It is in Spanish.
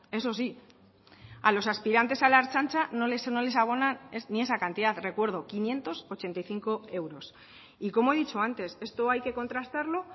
eso sí a los aspirantes a la ertzaintza no les abonan ni esa cantidad recuerdo quinientos ochenta y cinco euros y como he dicho antes esto hay que contrastarlo